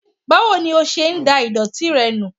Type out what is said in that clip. Báwo ní ọ ṣe dá ìdòtí rẹ nù?